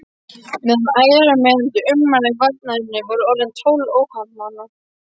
Meðal ærumeiðandi ummæla í varnarræðunni voru orðin tólf óhappamanna.